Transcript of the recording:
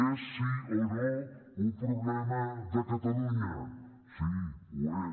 és sí o no un problema de catalunya sí ho és